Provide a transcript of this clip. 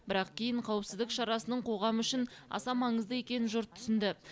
бірақ кейін қауіпсіздік шарасының қоғам үшін аса маңызды екенін жұрт түсінді